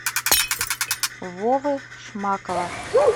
вовы шмакова